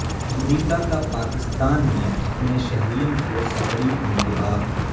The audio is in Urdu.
امریکہ کا پاکستان میں اپنے شہریوں کو سفری انتباہ